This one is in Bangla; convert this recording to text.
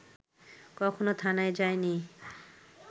কখনো থানায় যায়নি